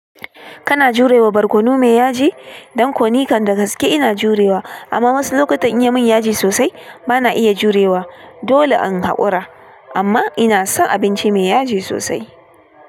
Kana jurewa barkono mai yaji? Don koni kan da gaske ina jurewa amma wasu lokutan inya yi min yaji sosai bana iya jurewa. Dole in hakura amma ina son abinci mai yaji sosai.